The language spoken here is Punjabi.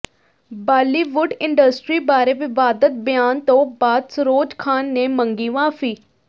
ਬਾਲੀਵੁੱਡ ਇੰਡਸਟਰੀ ਬਾਰੇ ਵਿਵਾਦਤ ਬਿਆਨ ਤੋਂ ਬਾਅਦ ਸਰੋਜ ਖਾਨ ਨੇ ਮੰਗੀ ਮਾਫ਼ੀ